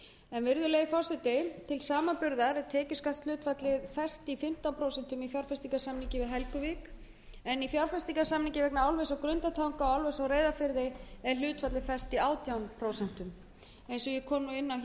skatta þangað til samanburðar er tekjuskattshlutfallið fest í fimmtán prósent í fjárfestingarsamningi við helguvík en í fjárfestingarsamningi vegna álvers á grundartanga og álvers á reyðarfirði er hlutfallið fest í átján prósent eins og ég hef áður komið